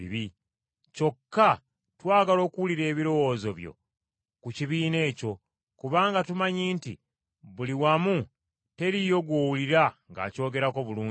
Kyokka twagala okuwulira ebirowoozo byo ku kibiina ekyo, kubanga tumanyi nti buli wamu teriiyo gw’owulira ng’akyogerako bulungi.”